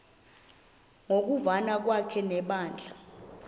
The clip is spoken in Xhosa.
ngokuvana kwakhe nebandla